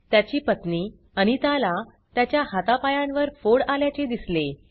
त्याची पत्नी अनिताला त्याच्या हाता पायांवर फोड आल्याचे दिसले